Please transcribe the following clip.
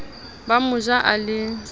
o mo ja a le